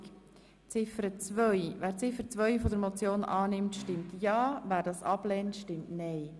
Wer Ziffer 2 der Motion annimmt, stimmt ja, wer das ablehnt, stimmt nein.